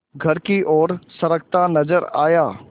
घर की ओर सरकता नजर आया